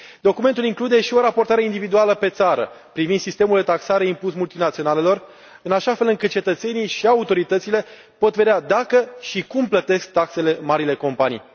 Documentul include și o raportare individuală pe țară privind sistemul de taxare impus multinaționalelor, în așa fel încât cetățenii și autoritățile pot vedea dacă și cum plătesc taxele marile companii.